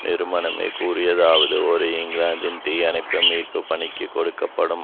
நிறுவனமே கூறியதாவது ஒரு இங்கிலாந்தின் தீயணைப்பு மீட்பு பணிக்கு கொடுக்க படும்